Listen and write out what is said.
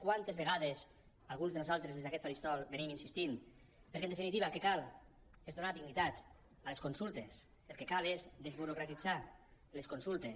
quantes vegades alguns de nosaltres des d’aquest faristol hi hem insistit perquè en definitiva el que cal és donar dignitat a les consultes el que cal és desburocratitzar les consultes